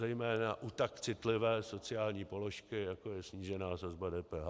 Zejména u tak citlivé sociální položky, jako je snížená sazba DPH.